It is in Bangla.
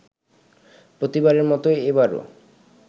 প্রতিবারের মতো এবারও